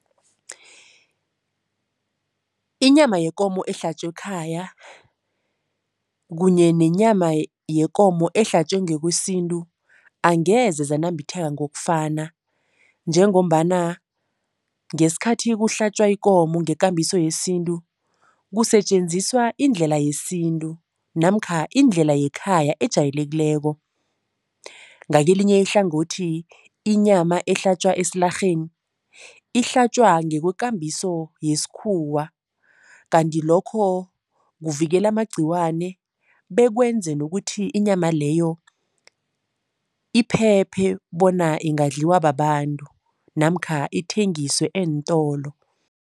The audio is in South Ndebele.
Inyama yekomo ehlatjwe ekhaya kunye nenyama yekomo ehlatjwe ngokwesintu, angeze zanambitheke ngokufana njengombana ngesikhathi kuhlatjwa ikomo ngekambiso yesintu, kusetjenziswa indlela yesintu namkha indlela yekhaya ejayelekileko. Ngakelinye ihlangothi, inyama ehlatjwa esilarheni ihlatjwa ngokwekambiso yesikhuwa kanti lokho kuvikela amagcikwane bekwenze nokuthi inyama leyo iphephe bona ingadliwa babantu namkha ithengiswe eentolo.